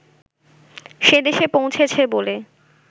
সেদেশে পৌঁছেছে বলে